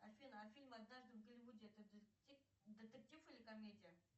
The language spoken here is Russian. афина а фильм однажды в голливуде это детектив или комедия